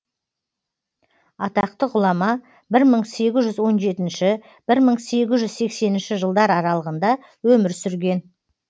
атақты ғұлама бір мың сегіз жүз он жетінші бір мың сегіз жүз сексенінші жылдар аралығында өмір сүрген